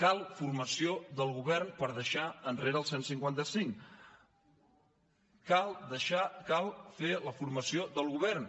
cal formació del govern per deixar enrere el cent i cinquanta cinc cal fer la formació del govern